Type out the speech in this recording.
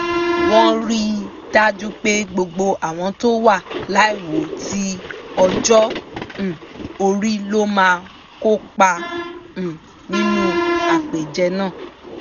wọ́n rí i dájú pé gbogbo àwọn tó wà láìwo tí ọjọ́ um orí ló máa kópa um nínú àpèjẹ náà